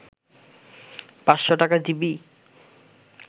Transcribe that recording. ৫০০ টাকা দিবি